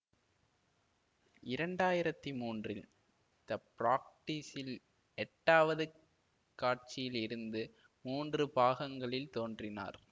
இரண்டு ஆயிரத்தி மூன்றில் த பிராக்டீஸ்ஸில் எட்டாவது காட்சியில் இருந்து மூன்று பாகங்களில் தோன்றினார்